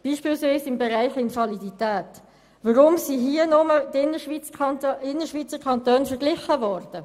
Weshalb ist beispielweise im Bereich Invalidität nur mit den Innerschweizer Kantonen verglichen worden?